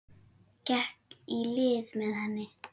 Gekk í lið með henni.